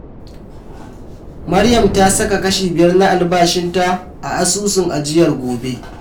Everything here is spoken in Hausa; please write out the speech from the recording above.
Maryam ta saka kashi biyar na albashinta a Asusun Ajiyar Gobe.